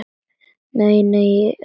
Nei, nei, í öllum bænum.